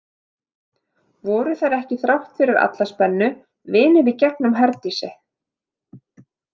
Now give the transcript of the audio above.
Voru þær ekki þrátt fyrir alla spennu vinir í gegnum Herdísi?